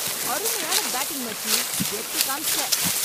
அருமையான பேட்டிங்க், மச்சி. கெத்து காமிச்சுட்ட.